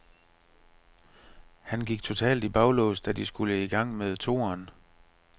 Han gik totalt i baglås, da de skulle i gang med toeren.